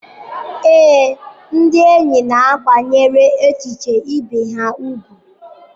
Ee, ndị enyi na-akwanyere echiche ibe ha ùgwù.